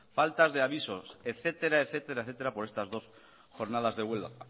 faltas de avisos etcétera etcétera etcétera por estas dos jornadas de huelga